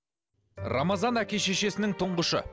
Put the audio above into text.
рамазан әке шешесінің тұңғышы